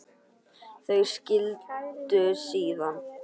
Þau skildu síðan.